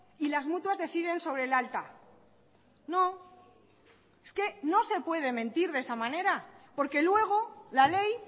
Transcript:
y las mutuas deciden sobre el alta no es que no se puede mentir de esa manera porque luego la ley